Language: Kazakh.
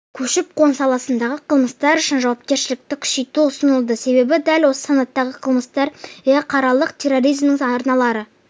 көші-қон саласындағы қылмыстар үшін жауапкершілікті күшейту ұсынылды себебі дәл осы санаттағы қылмыстар іалықаралық терроризмнің арналары